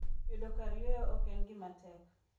Yudo kar yueyo ok en gima tek.